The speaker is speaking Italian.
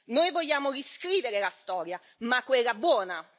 Noi vogliamo riscrivere la storia, ma quella buona!